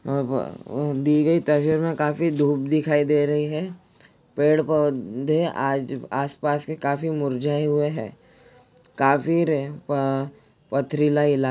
दिगई तस्बीर में काफी धुप दिखाई दे रही है पेड़ पौधे आस -पास का काफी मुरझाये हुई है काफी पत्थरीला इलाका है।